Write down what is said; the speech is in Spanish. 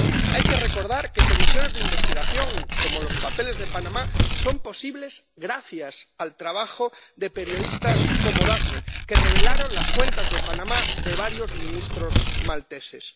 Hay que recordar que comisiones de investigación, como la de los papeles de Panamá, son posibles gracias al trabajo de periodistas como Daphne, que revelaron las cuentas de Panamá de varios ministros malteses.